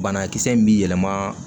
Banakisɛ in bɛ yɛlɛma